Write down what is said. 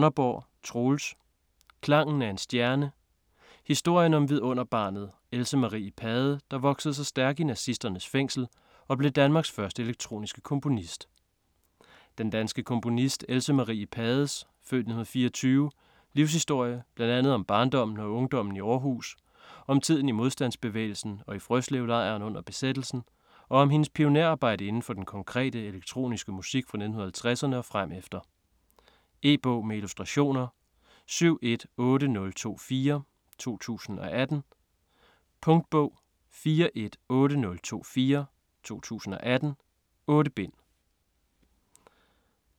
Donnerborg, Troels: Klangen af en stjerne: historien om vidunderbarnet, Else Marie Pade, der voksede sig stærk i nazisternes fængsel og blev Danmarks første elektroniske komponist Den danske komponist Else Marie Pades (f. 1924) livshistorie, bl.a. om barndommen og ungdommen i Århus, om tiden i modstandsbevægelsen og i Frøslevlejren under besættelsen, og om hendes pionerarbejde inden for den konkrete, elektroniske musik fra 1950'erne og fremefter. E-bog med illustrationer 718024 2018. Punktbog 418024 2018. 8 bind.